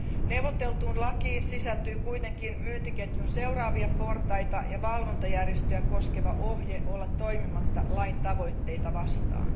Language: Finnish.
Neuvoteltuun asetukseen sisältyy kuitenkin myyntiketjun seuraavia portaita ja valvontajärjestöjä koskeva ohje olla toimimatta lain tavoitteita vastaan.